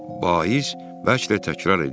Vaiz bəlkə də təkrar edirdi: